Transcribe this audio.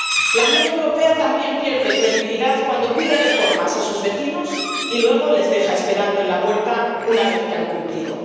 La Unión Europea también pierde credibilidad cuando pide reformas a sus vecinos y luego les deja esperando en la puerta una vez que han cumplido.